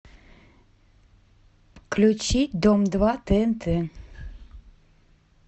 включи дом два тнт